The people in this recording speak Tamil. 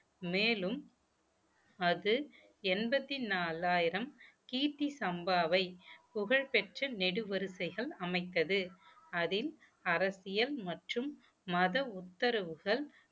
மேலும் அது எண்பத்தி நாலாயிரம் கீர்த்தி சம்பாவை புகழ்பெற்ற நெடு வரிசைகள் அமைத்தது அதில் அரசியல் மற்றும் மத உத்தரவுகள்